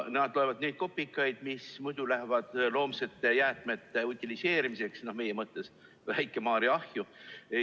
Nad loevad ka neid kopikaid, mis muidu kuluks loomsete jäätmete utiliseerimiseks, meie mõttes Väike-Maarja ahju.